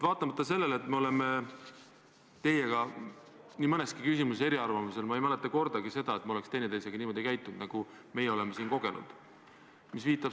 Vaatamata sellele, et me oleme teiega nii mõneski küsimuses eriarvamusel olnud, ma ei mäleta kordagi, et me oleks üksteisega niimoodi käitunud, nagu me oleme siin teie asendaja puhul kogenud.